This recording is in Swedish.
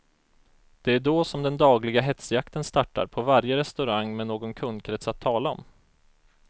Det är då som den dagliga hetsjakten startar på varje restaurang med någon kundkrets att tala om.